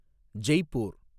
Jaipur